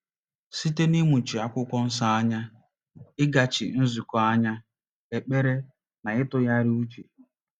Site n’ịmụchi Akwụkwọ Nsọ anya, ịgachi nzukọ anya, ekpere, na ịtụgharị uche.